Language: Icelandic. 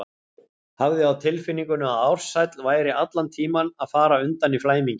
Hafði á tilfinningunni að Ársæll væri allan tímann að fara undan í flæmingi.